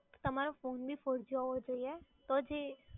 તમારો ફોન બી four G હોવો જોઈએ. તો જ એ